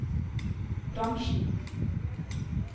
bransjen